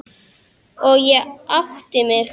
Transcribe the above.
Og ég átti mig.